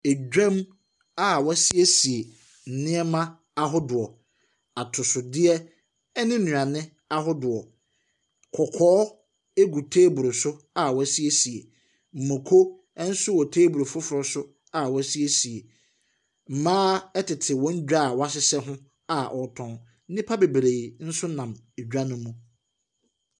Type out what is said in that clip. Dwam a wɔasiesie nneɛma ahodoɔ, atosodeɛ ne nnuane ahodoɔ. Kɔkɔɔ gu teeburu so a wɔasiesie, mmoko nso wɔ teeburu foforɔ so a wɔasiesie. Mmaa tete wɔn dwa a wɔahyehyɛ ho a wɔretɔn. Nnipa bebree nso nam dwa no mu.